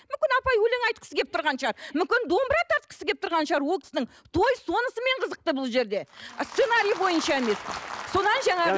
мүмкін апай өлең айтқысы келіп тұрған шығар мүмкін домбыра тартқысы келіп тұрған шығар ол кісінің той сонысымен қызықты бұл жерде ы сценарий бойынша емес содан жаңағы